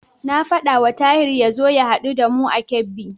Na faɗawa Tahir ya zo ya haɗu da mu a Kebbi.